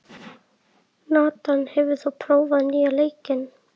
Nathan, hefur þú prófað nýja leikinn?